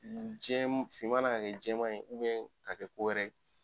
Jɛm finnma na ka kɛ jɛman na ka kɛ ko wɛrɛ ye.